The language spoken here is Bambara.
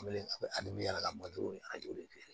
y'a ka ni an y'o de feere